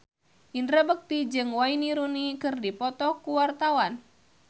Indra Bekti jeung Wayne Rooney keur dipoto ku wartawan